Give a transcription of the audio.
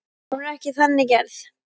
Hún er ekki þannig gerð.